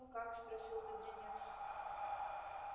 ну как спросил бедренец